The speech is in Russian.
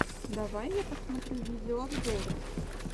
давай я посмотрю видеообзоры